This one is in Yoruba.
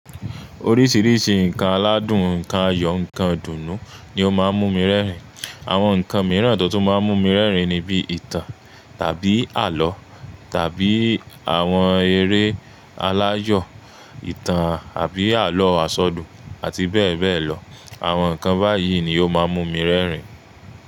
Oríṣiríṣi nǹkan aládùn, nǹkan ayọ̀, nǹkan ìdùnnú ni ó máa ń mú mi rẹ́rìn. Àwọn nǹkan mìíràn tó máa ń mú mi rẹ́rìn ni bí ìtàn tàbí àlọ́ tàbí àwọn eré aláyọ̀, ìtàn àbí àlọ́ asọ dùn àti bẹ́ẹ̀ bẹ́ẹ̀ lọ. Àwọn nǹkan báyìí ni ó máa ń mú mi rẹ́rìn.